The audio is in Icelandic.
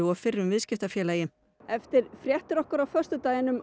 og fyrrum viðskiptafélagi eftir fréttir okkar á föstudaginn um